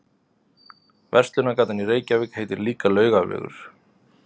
Verslunargatan í Reykjavík heitir líka Laugavegur.